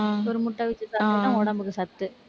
ஒரு முட்டை வச்சு சாப்பிட்டேன்னா உடம்புக்கு சத்து